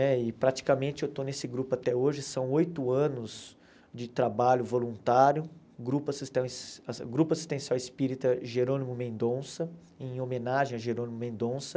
Né e praticamente eu estou nesse grupo até hoje, são oito anos de trabalho voluntário, Grupo Assistenci Grupo Assistencial Espírita Jerônimo Mendonça, em homenagem a Jerônimo Mendonça.